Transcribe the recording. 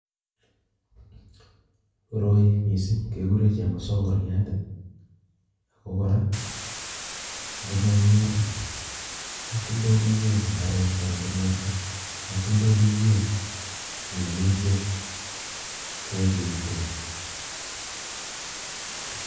Koroi mising kekure chemosongoriat ako kora ngomanyor katoldoiywek imbaret ana katoldoiywek minutyet kwaekeitu ni